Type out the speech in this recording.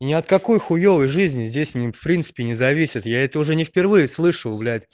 и ни от какой хуевой жизни здесь не в принципе не зависит я это уже не впервые слышу блять